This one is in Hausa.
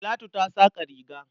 Talatu ta saƙa riga.